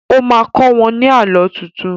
O má kọ́ wọ́n ní Àlọ́ tuntun